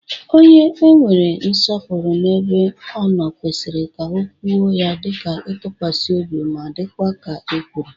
Onye e nwere nsopuru n'ebe o no kwesiri ka okwu ya di itukwasi obi ma dikwa ka e kwuru.